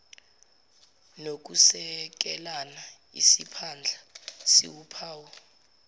nokusekelana isiphandla siwuphawu